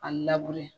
A